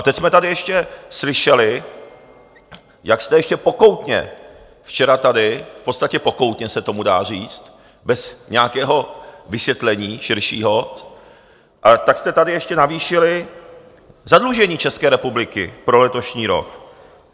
A teď jsme tady ještě slyšeli, jak jste ještě pokoutně včera tady, v podstatě pokoutně se tomu dá říct, bez nějakého vysvětlení širšího, tak jste tady ještě navýšili zadlužení České republiky pro letošní rok.